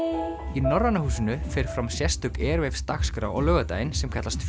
í Norræna húsinu fer fram sérstök Airwaves dagskrá á laugardaginn sem kallast